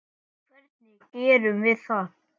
Hvernig gerum við það?